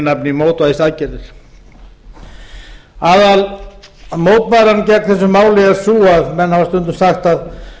nafni mótvægisaðgerðir aðalmótbáran gegn þessu máli er sú að menn hafa stundum sagt að